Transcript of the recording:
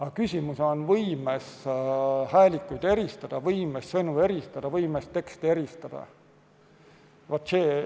Aga küsimus on võimes häälikuid eristada, võimes sõnu eristada, võimes teksti eristada.